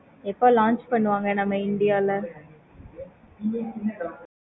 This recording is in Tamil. எப்போ launch பண்ணுவாங்க நம்ம இந்தியால